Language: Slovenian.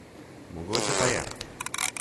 Mogoče pa je.